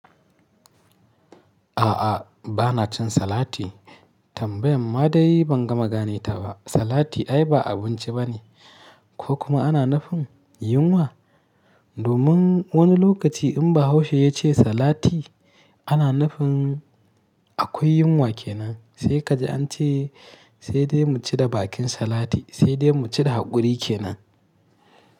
A'a, ba na cin salati. Tambayan ma dai ban gama gane ta ba. Salati ai ba abinci bane ko kuma ana nufin yunwa? Domin wani lokaci in Bahaushe ya ce salati, ana nufin akwai yunwa kenan. Sai ka ji an ce sai dai mu ci da bakin salati, sai dai mu ci da haƙuri kenan.